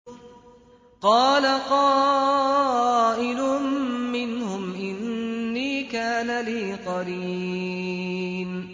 قَالَ قَائِلٌ مِّنْهُمْ إِنِّي كَانَ لِي قَرِينٌ